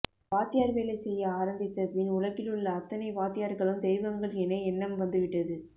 வாத்தியார் வேலை செய்ய ஆரம்பித்தபின் உலகிலுள்ள அத்தனை வாத்தியார்களும் தெய்வங்கள் என எண்ணம் வந்துவிட்டது